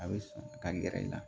A bɛ sɔn ka gɛrɛ i la